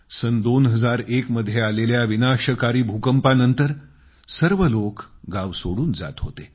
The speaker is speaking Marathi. सन 2001 मध्ये आलेल्या विनाशकारी भूकंपानंतर सर्व लोक गांव सोडून जात होते